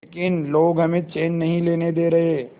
लेकिन लोग हमें चैन नहीं लेने दे रहे